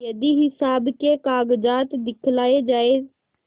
यदि हिसाब के कागजात दिखलाये जाएँ